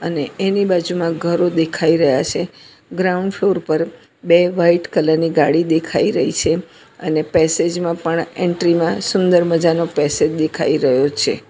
ને એની બાજુમાં ઘરો દેખાય રહ્યા છે ગ્રાઉન્ડ ફ્લોર પર બે વાઈટ કલર ની ગાડી દેખાય રહી છે અને પેસેજ માં પણ એન્ટ્રી માં સુંદર મજાનો પેસેજ દેખાય રહ્યો છે.